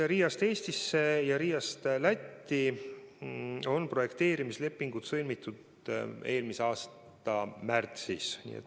Riiast Eestisse ja on projekteerimislepingud sõlmitud eelmise aasta märtsis.